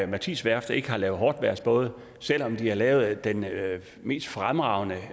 mathis værft ikke har lavet hårdtvejrsbåde selv om de har lavet den mest fremragende